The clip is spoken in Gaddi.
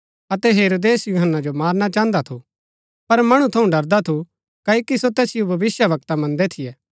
ता तिनी तैहा सितै सौगन्द खाई करी वचन दिता कि तु जैडा कुछ मंगली अऊँ तिजो दिला